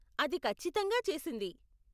అది ఖచ్చితంగా చేసింది.